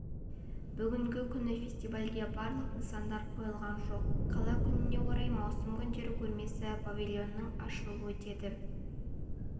бүгінгі күні фестивальге барлық нысандар қойылған жоқ қала күніне орай маусым күндері көрмесі павильонының ашылуы өтеді